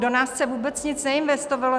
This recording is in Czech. Do nás se vůbec nic neinvestovalo.